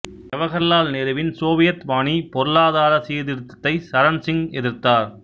ஜவகர்லால் நேருவின் சோவியத் பாணி பொருளாதார சீர்திருத்தத்தை சரண் சிங் எதிர்த்தார்